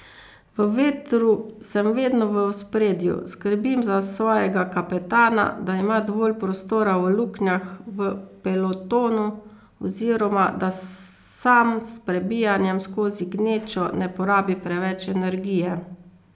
V vetru sem vedno v ospredju, skrbim za svojega kapetana, da ima dovolj prostora v luknjah v pelotonu oziroma da sam s prebijanjem skozi gnečo ne porabi preveč energije.